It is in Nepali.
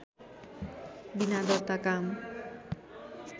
विना दर्ता काम